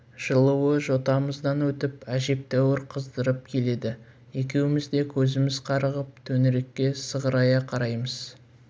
жылуы жотамыздан өтіп әжептәуір қыздырып келеді екеуміз де көзіміз қарығып төңірекке сығырая қараймыз